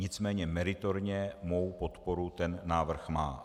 Nicméně meritorně mou podporu ten návrh má.